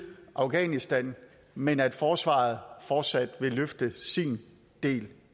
afghanistan men at forsvaret fortsat vil løfte sin del